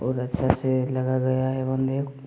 औरअच्छा से लग गया है बंदे--